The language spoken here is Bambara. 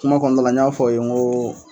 Kuma kɔnɔna la n y'a fɔ aw ye n ko